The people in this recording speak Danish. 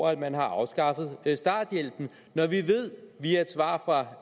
at man har afskaffet starthjælpen når vi via et svar fra